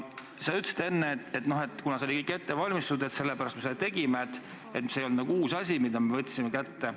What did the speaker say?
Sa ütlesid enne, et kuna see oli kõik ette valmistatud, sellepärast me seda tegime, see ei olnud nagu uus asi, mille me kätte võtsime.